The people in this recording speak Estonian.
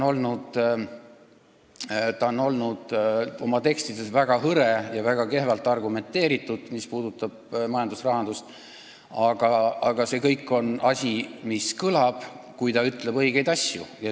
Ta on oma tekstides olnud väga hõre ja väga kehva argumentatsiooniga, mis puudutab majandust ja rahandust, aga see kõik on asi, mis kõlab, kui ta ütleb õigeid asju.